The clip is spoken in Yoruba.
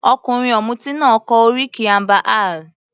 Ọkùnrin ọ̀mùti náà kọ oríkì amber ale.